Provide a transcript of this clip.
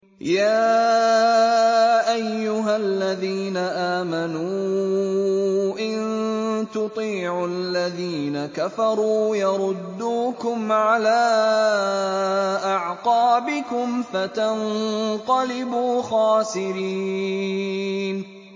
يَا أَيُّهَا الَّذِينَ آمَنُوا إِن تُطِيعُوا الَّذِينَ كَفَرُوا يَرُدُّوكُمْ عَلَىٰ أَعْقَابِكُمْ فَتَنقَلِبُوا خَاسِرِينَ